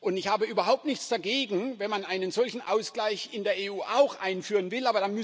Und ich habe überhaupt nichts dagegen, wenn man einen solchen Ausgleich auch in der EU einführen will.